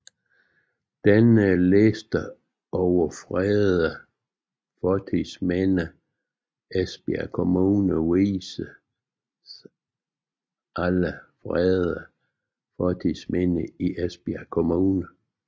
Denne liste over fredede fortidsminder i Esbjerg Kommune viser alle fredede fortidsminder i Esbjerg Kommune